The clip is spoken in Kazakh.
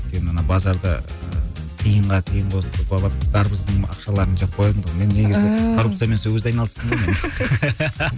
өйткені ана базарда ыыы тиынға тиын қосып дарбыздың ақшаларын жеп қоятын тұғым мен негізі коррупциямен сол кезде айналыстым ғой мен